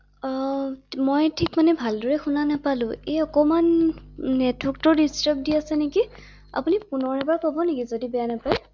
অ মই থিক মানে ভালদৰে শুনা নাপালো ৷এই অকণমাণ নেৰ্টৱকটো ডিষ্টাৱ দি আছে নেকি? আপুনি পুনৰ এবাৰ ক’ব নেকি যদি বেয়া নাপায় ৷